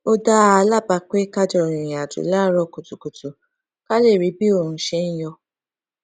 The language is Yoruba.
ó dá a lábàá pé ká jọ rìnrìn àjò láàárò kùtùkùtù ká lè rí bí oòrùn ṣe ń yọ